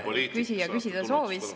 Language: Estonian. Noh, te olete kogenud poliitik.